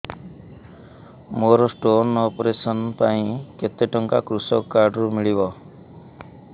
ମୋର stone operation ପାଇଁ କେତେ ଟଙ୍କା କୃଷକ କାର୍ଡ ରୁ ମିଳିବ